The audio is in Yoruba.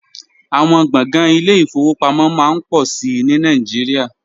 Àwọn gbọ̀ngàn ile-ìfowópamọ́ máa ń pọ̀ sí i ní Nàìjíríà